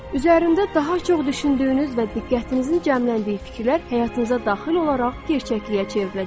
Üzərində daha çox düşündüyünüz və diqqətinizin cəmləndiyi fikirlər həyatınıza daxil olaraq gerçəkliyə çevriləcəkdir.